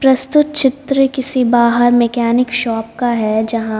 प्रस्तुत चित्र किसी बाहर मैकेनिक शॉप का है जहाँ--